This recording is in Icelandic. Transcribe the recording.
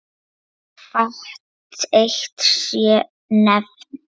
Svo fátt eitt sé nefnt.